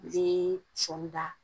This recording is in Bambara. Bee sɔɔni da.